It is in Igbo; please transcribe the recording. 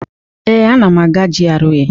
Ee, ana m aga GRA.